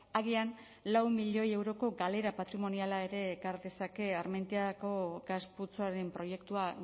agian lau milioi euroko galera patrimoniala ere ekar dezake armentiako gas putzuen proiektua